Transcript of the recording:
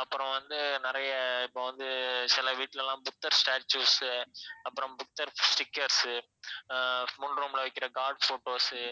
அப்புறம் வந்து நிறைய இப்ப வந்து சில வீட்டிலலாம் புத்தர் statues உ அப்புறம் புத்தர் stickers உஆஹ் முன் room ல வைக்கிற god photos உ